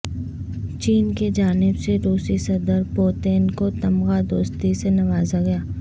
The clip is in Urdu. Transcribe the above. چین کے جانب سے روسی صدر پوتین کو تمغہ دوستی سے نوازہ گیا